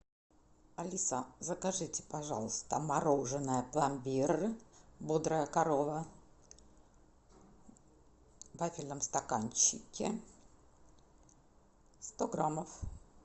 алиса закажите пожалуйста мороженое пломбир бодрая корова в вафельном стаканчике сто граммов